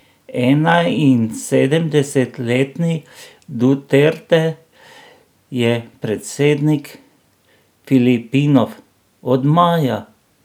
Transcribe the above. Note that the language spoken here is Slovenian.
Enainsedemdesetletni Duterte je predsednik Filipinov od maja.